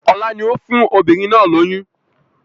Ọlá ni ó fún obìnrin náà lóyún